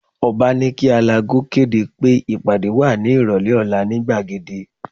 Ọ̀ba ní kí alágo kéde pé ìpàdé wà ní ìrọ̀lẹ́ ọ̀la ní gbàgede